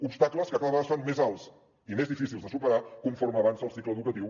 obstacles que cada vegada es fan més alts i més difícils de superar conforme avança el cicle educatiu